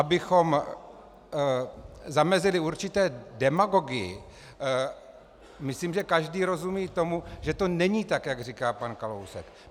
Abychom zamezili určité demagogii, myslím, že každý rozumí tomu, že to není tak, jak říká pan Kalousek.